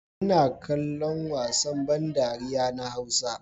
Ina kallon wasan ban dariya na hausa.